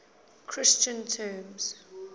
christian terms